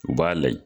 U b'a layɛ